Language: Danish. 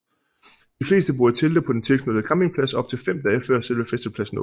De fleste bor i telte på den tilknyttede campingplads op til fem dage før selve festivalpladsen åbner